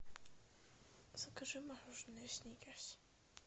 закажи мороженое сникерс